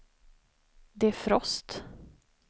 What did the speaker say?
defrost